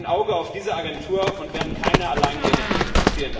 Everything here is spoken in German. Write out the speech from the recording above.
Wir haben ein Auge auf diese Agentur und werden keine Alleingänge dulden.